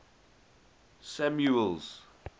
samuel's